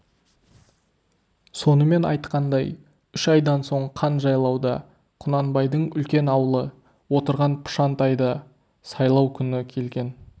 сонымен айтқандай үш айдан соң қан жайлауда құнанбайдың үлкен аулы отырған пұшантайда сайлау күні келген